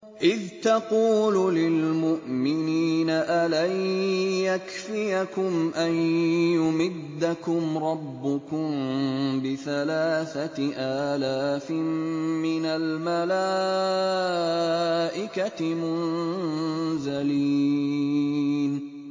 إِذْ تَقُولُ لِلْمُؤْمِنِينَ أَلَن يَكْفِيَكُمْ أَن يُمِدَّكُمْ رَبُّكُم بِثَلَاثَةِ آلَافٍ مِّنَ الْمَلَائِكَةِ مُنزَلِينَ